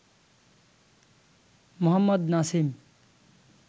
Mohammad Nasim